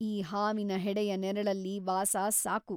ಈ ಹಾವಿನ ಹೆಡೆಯ ನೆರಳಲ್ಲಿ ವಾಸ ಸಾಕು.